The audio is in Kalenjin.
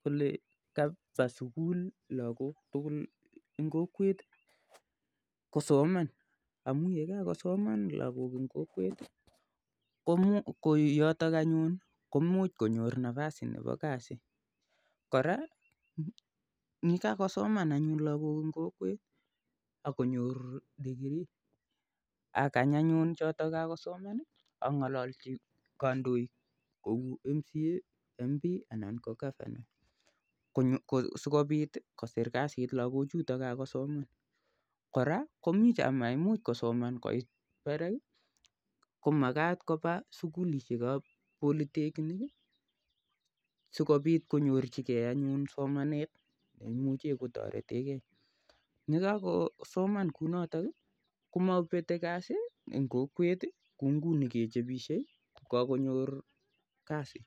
kole kapa sukul lakok tukul eng kokwet kosoman amu yekakosoman lakok eng kokwet koyotok anyun komuch konyor nafas nepo kasi kora nikakosoman anyun lakok eng kokwet akonyor degree akany anyun choto kakosoman angololchi kandoik kou mca mp ana ko governor sikopit koser kasit lakochoto kosoman kora koimuchei kosoman amait parak komakat kopa sukulishek ap polytechnic sikopit konyorchingei anyun somanet neimuchei kotoretekei nekakosoman kounoto komapete kazi eng kokwet konguni kechopishe ko kakonyor kazi